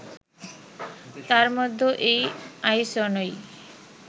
তার মধ্যে এই আইসনই